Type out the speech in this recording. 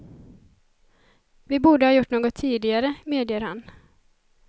Vi borde ha gjort något tidigare, medger han.